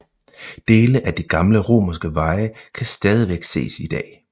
Dele af de gamle romerske veje kan stadigvæk ses i dag